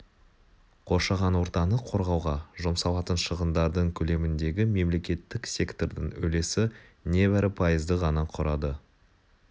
қоршаған ортаны қорғауға жұмсалатын шығындардың көлеміндегі мемлекеттік сектордың үлесі небәрі пайызды ғана құрады